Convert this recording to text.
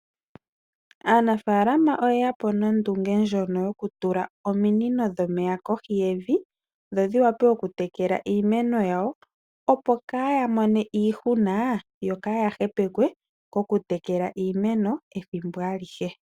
Aanafaalama oyeya po nondunge ndjono yoku tula ominino dhomeya kohi yevi dho dhi wape oku tekela iimeno yayo opo kaya mone iihuna yo kaya hepekwe oku tekela iimeno ethimbo alihe.